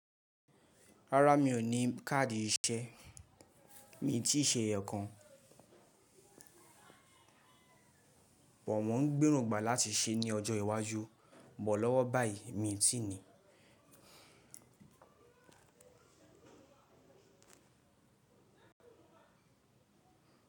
Rárá mi ò ní káàdì iṣẹ́, mi ti ṣe ẹ̀yọ kan. Mo ń gbèro gbà láti ṣe ní ọjọ́ iwájú. Bọ̀ lọ́wọ́ báyìí mi ti ni.